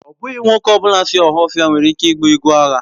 Ọ bụghị nwoke ọ bụla si Ohaofia nwere ike ịgba egwu agha.